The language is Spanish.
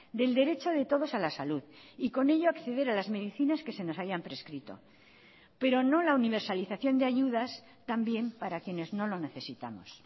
del derecho de todos a la salud y con ello acceder a las medicinas que se nos hayan prescrito pero no la universalización de ayudas también para quienes no lo necesitamos